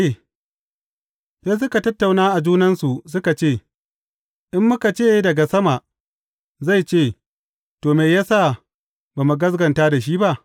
Sai suka tattauna a junansu suka ce, In muka ce, Daga sama,’ zai ce, To, me ya sa ba mu gaskata shi ba?’